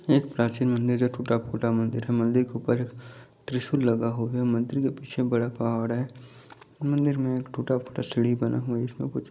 एक प्राचीन मंदिर जो टूटा फूटा मंदिर है मंदिर के ऊपर एक त्रिशूल लगा हुआ है मंदिर के पीछे बड़ा पहाड़ है मंदिर में टूटा फूटा सीढ़ी बना हुआ है इसमें कुछ--